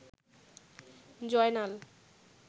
Joynal